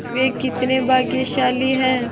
वे कितने भाग्यशाली हैं